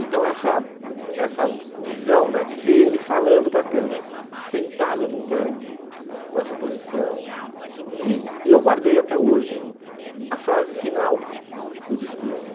Então essa essa visão né de ver ele falando para a câmera, sentado num banco, com essa posição, e eu guardei até hoje a frase final do discurso.